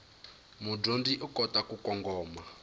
mudyondzi u kota ku kongoma